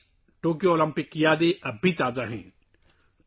Tokyo Olympics کی یادیں آج بھی ہم سب کے ذہنوں میں تازہ ہیں